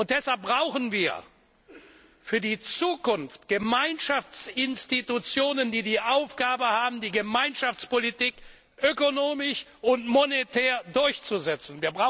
Deshalb brauchen wir für die Zukunft Gemeinschaftsinstitutionen, die die Aufgabe haben, die Gemeinschaftspolitik ökonomisch und monetär durchzusetzen.